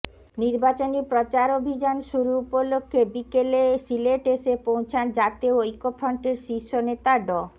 নির্বাচনী প্রচারাভিযান শুরু উপলক্ষে বিকেলে সিলেট এসে পৌছান জাতীয় ঐক্যফ্রন্টের শীর্ষ নেতা ড